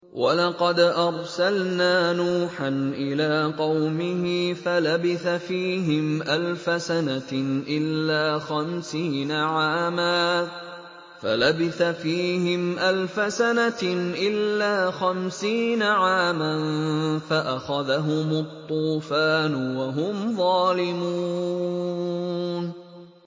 وَلَقَدْ أَرْسَلْنَا نُوحًا إِلَىٰ قَوْمِهِ فَلَبِثَ فِيهِمْ أَلْفَ سَنَةٍ إِلَّا خَمْسِينَ عَامًا فَأَخَذَهُمُ الطُّوفَانُ وَهُمْ ظَالِمُونَ